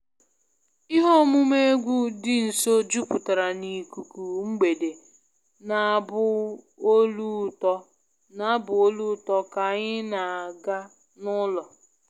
Ihe omume egwu dị nso jupụtara n'ikuku mgbede na abụ olu ụtọ ka anyị na-aga n'ụlọ